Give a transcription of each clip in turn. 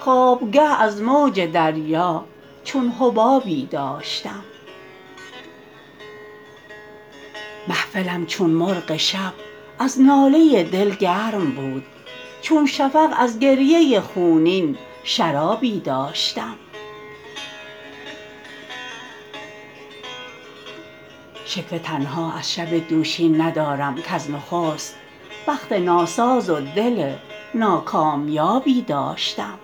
خوابگه از موج دریا چون حبابی داشتم محفلم چون مرغ شب از ناله دل گرم بود چون شفق از گریه خونین شرابی داشتم شکوه تنها از شب دوشین ندارم کز نخست بخت ناساز و دل ناکامیابی داشتم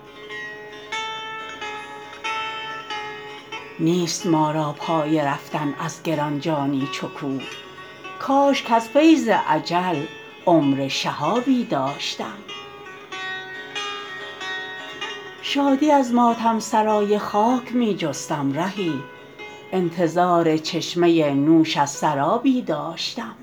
نیست ما را پای رفتن از گران جانی چو کوه کاش کز فیض اجل عمر شهابی داشتم شادی از ماتم سرای خاک می جستم رهی انتظار چشمه نوش از سرابی داشتم